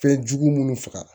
Fɛnjugu munnu faga